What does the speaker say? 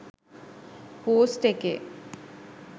post එකේ